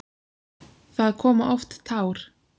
Það koma oft tár.